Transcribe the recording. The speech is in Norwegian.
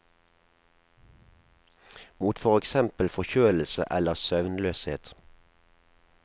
Mot for eksempel forkjølelse eller søvnløshet.